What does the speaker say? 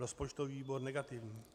Rozpočtový výbor - negativní.